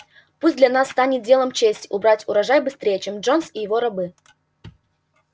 пусть для нас станет делом чести убрать урожай быстрее чем джонс и его рабы